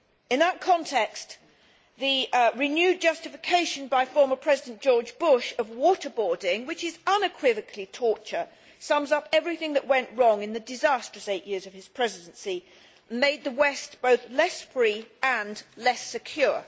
In that context, the renewed justification by former President George Bush of water boarding which is unequivocally torture sums up everything that went wrong in the disastrous eight years of his Presidency and that made the West both less free and less secure.